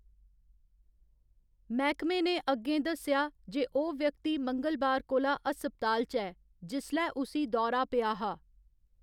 मैह्‌‌‌कमे ने अग्गें दस्सेआ जे ओह्‌‌ व्यक्ति मंगलबार कोला हस्पताल च ऐ जिसलै उसी दौरा पेआ हा।